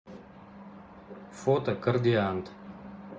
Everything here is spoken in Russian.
фото кордиант